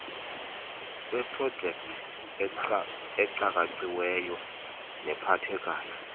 lweeprojekthi ecakaciweyo nephathekayo